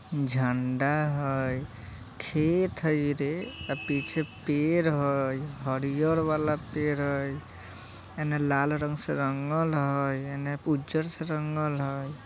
झंडा हई खेत हई रे आ पीछे पेड़ हई हरियर वाला पेड़ हई इने लाल रंग से रंगल हई इने उज्जर से रंगल हई।